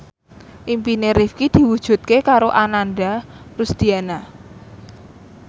impine Rifqi diwujudke karo Ananda Rusdiana